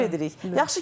Təşəkkür edirik.